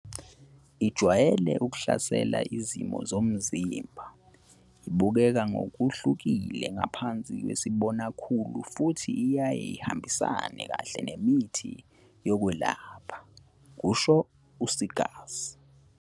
Ijwayele ukuhlasela izitho zomzimba, ibukeka ngokuhlukile ngaphansi kwesibonakhulu futhi iyaye ihambisane kahle nemithi yokwelapha, kusho u-Seegers.